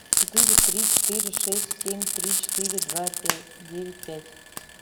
четыре три четыре шесть семь три четыре два пять девять пять